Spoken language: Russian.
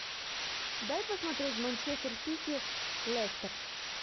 дай посмотреть манчестер сити лестер